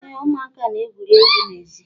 Ee, ụmụaka na-egwuri egwu n'èzí